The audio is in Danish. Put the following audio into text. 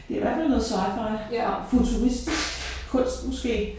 Det i hvert fald noget sci-fi fra futuristisk kunst måske